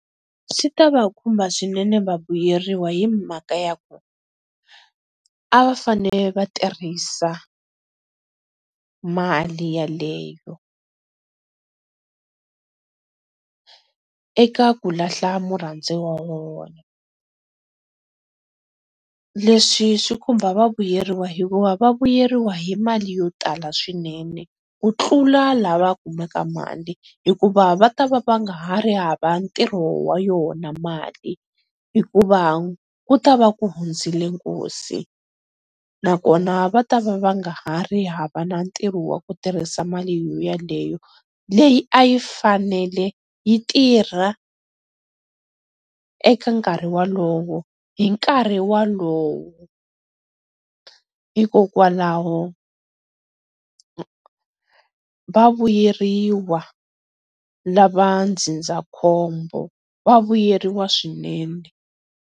Swi ta va khumba swinene vavuyeriwa hi mhaka ya ku, a vafanele vatirhisa mali yaleyo, eka ku lahla murhandziwa wa vona, leswi swi khumba vavuyeriwa hikuva va vuyeriwa hi mali yo tala swinene, ku tlula lava kumaka mali hikuva va ta va nga ha ri hava ntirho wa yona mali, hikuva ku ta va ku hundzile nkosi na kona va ta va va nga ha ri hava na ntirho wa ku tirhisa mali yo yaleyo leyi a yi fanele yi tirha eka nkarhi wolowo hi nkarhi wolowo hikokwalaho va vuyeriwa lava ndzindzakhombo, va vuyeriwa swinene.